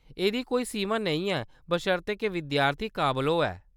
एह्‌‌‌दी कोई सीमा नेईं ऐ बशर्ते के विद्यार्थी काबल होऐ।